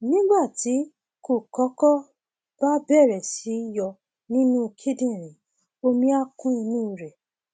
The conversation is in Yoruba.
nígbà tí kókọkọ bá bẹrẹ sí yọ nínú kíndìnrín omi á kún inú rẹ